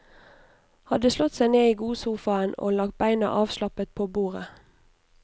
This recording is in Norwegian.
Hadde slått seg ned i godsofaen og lagt beina avslappet på bordet.